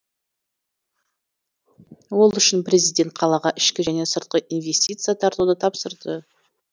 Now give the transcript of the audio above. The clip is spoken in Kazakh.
ол үшін президент қалаға ішкі және сыртқы инвестиция тартуды тапсырды